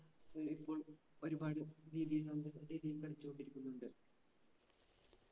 ഏർ ഇപ്പോൾ ഒരുപാട് രീതിയിൽ നമുക്ക് രീതിയിൽ കളിച്ച് കൊണ്ടിരിക്കുന്നുണ്ട്